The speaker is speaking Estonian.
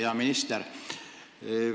Hea minister!